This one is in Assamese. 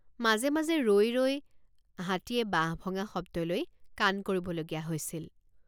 মাজে মাজে ৰৈ ৰৈ হাতীয়ে বাঁহ ভঙা শব্দলৈ কাণ কৰিবলগীয়া হৈছিল।